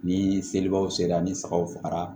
Ni selibaw sera ni sagaw fagara